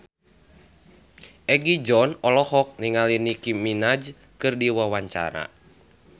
Egi John olohok ningali Nicky Minaj keur diwawancara